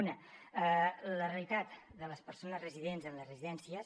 una la realitat de les persones residents en les residències